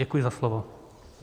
Děkuji za slovo.